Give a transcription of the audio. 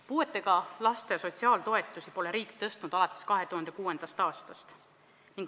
Puudega laste sotsiaaltoetusi pole riik tõstnud alates 2006. aastast.